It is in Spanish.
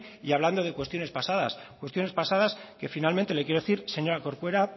y hablando de cuestiones pasadas cuestiones pasadas que finalmente le quiero decir señora corcuera